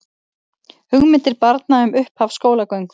Hugmyndir barna um upphaf skólagöngu